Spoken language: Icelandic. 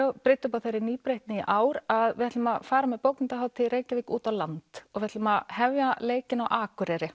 brydda upp á þeirri nýbreytni í ár að við ætlum að fara með bókmenntahátíð í Reykjavík út á land við ætlum að hefja leikinn á Akureyri